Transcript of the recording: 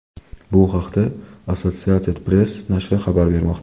Bu haqda Associated Press nashri xabar bermoqda.